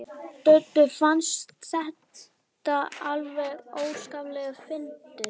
Döddu fannst þetta alveg óskaplega fyndið.